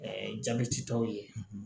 jabɛti tɔw ye